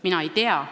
Mina ei tea.